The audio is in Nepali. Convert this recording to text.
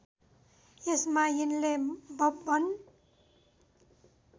यसमा यिनले बब्बन